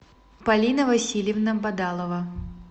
полина васильевна бадалова